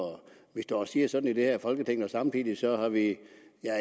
vi står og siger sådan i det her folketing og samtidig